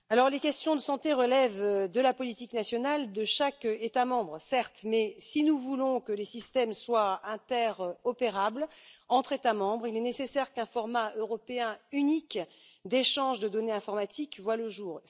Les questions de santé relèvent de la politique nationale de chaque État membre, certes, mais si nous voulons que les systèmes soient interopérables entre États membres, il est nécessaire qu'un format européen unique d'échange de données informatiques voie le jour.